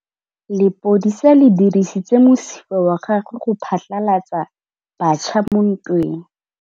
Lepodisa le dirisitse mosifa wa gagwe go phatlalatsa batšha mo ntweng.